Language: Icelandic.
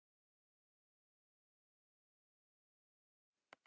Líndís, hækkaðu í græjunum.